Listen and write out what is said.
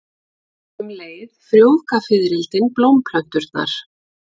Um leið frjóvga fiðrildin blómplönturnar.